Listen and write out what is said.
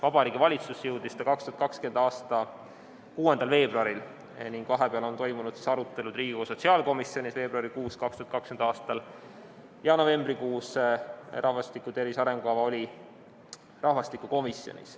Vabariigi Valitsusse jõudis ta 2020. aasta 6. veebruaril ning vahepeal on toimunud arutelud Riigikogu sotsiaalkomisjonis ja novembrikuus oli rahvastiku tervise arengukava rahvastikukomisjonis.